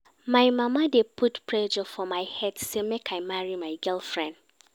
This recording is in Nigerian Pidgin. My mama dey put pressure for my head sey make I marry my girlfriend.